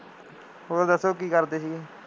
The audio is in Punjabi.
ਹੋਰ ਦੱਸੋ ਕੀ ਕਰਦੇ ਸੀਗੇ,